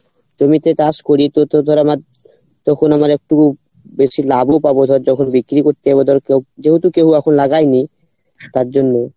জমিতে চাষ করি তো তোর ধর আমার তখন আমার একটু বেশি যখন বিক্রি করতে যাবো ধর কেও যেহেতু কেও এখন লাগায়নি তার জন্য